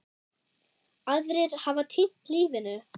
Aðrir hafa týnt lífinu.